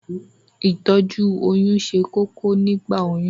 Ìtọ́jú oyún ṣe kókó nígbà oyún